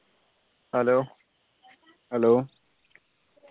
hello hello